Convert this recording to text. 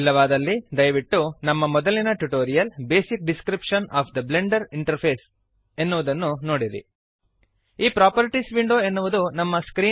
ಇಲ್ಲವಾದಲ್ಲಿ ದಯವಿಟ್ಟು ನಮ್ಮ ಮೊದಲಿನ tutorial basic description of the Blender interface basic description of the Blender interface ಎನ್ನುವುದನ್ನು ನೋಡಿರಿ